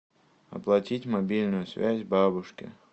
оплатить мобильную связь бабушке